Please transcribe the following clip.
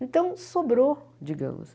Então, sobrou, digamos.